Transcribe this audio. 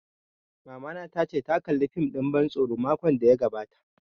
Mamana ta ce ta kalla fim ɗin ban tsoro makon da ya gabata